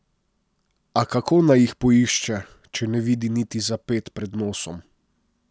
A kako naj jih poišče, če ne vidi niti za ped pred nosom?